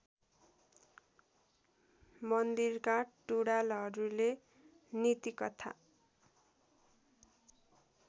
मन्दिरका टुँडालहरूले नीतिकथा